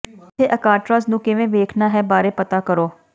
ਇੱਥੇ ਅਕਾਟ੍ਰਾਜ਼ ਨੂੰ ਕਿਵੇਂ ਵੇਖਣਾ ਹੈ ਬਾਰੇ ਪਤਾ ਕਰੋ